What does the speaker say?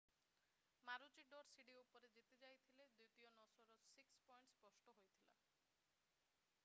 ମାରୁଚିଡୋର ସିଢି ଉପରେ ଜିତିଯାଇଥିଲେ ଦ୍ଵିତୀୟରେ ନୋସାର 6 ପଏଣ୍ଟ ସ୍ପଷ୍ଟ ହୋଇଥିଲା